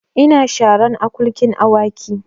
Ina sharan akulkin Awakin